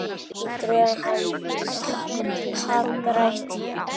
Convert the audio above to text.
Getur hann hagrætt?